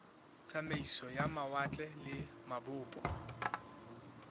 tsamaiso ya mawatle le mabopo